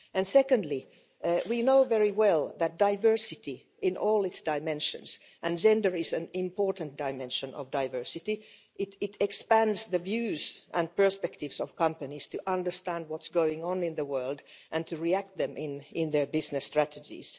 Secondly, we know very well that diversity in all its dimensions and gender is an important dimension of diversity expands companies' views and perspectives in terms of understanding what's going on in the world and reacting to it in their business strategies.